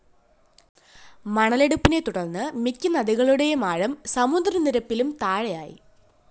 മണലെടുപ്പിനെ തുടര്‍ന്ന് മിക്ക നദികളീടെയും ആഴം സമുദ്രനിരപ്പിലും താഴെയായി